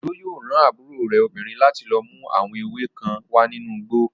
Òjó yóò rán àbúrò rẹ̀ obìnrin láti lọ mú àwọn ewé níìmù kan wá nínú igbó